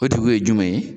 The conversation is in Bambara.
O tigi ye jumɛn ye